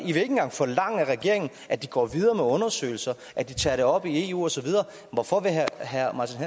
ikke engang forlange af regeringen at de går videre med undersøgelser at de tager det op i eu og så videre hvorfor vil herre herre martin